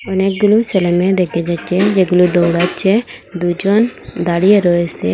অনেকগুলো ছেলে মেয়ে দেকা যাচ্চে যেগুলো দৌড়াচ্চে দুইজন দাঁড়িয়ে রয়েসে।